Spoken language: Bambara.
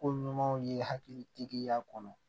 Ko ɲumanw ye hakili tigiya kɔnɔ